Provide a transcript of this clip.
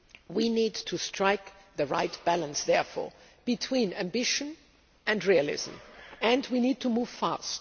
We need to strike the right balance, therefore, between ambition and realism, and we need to move fast.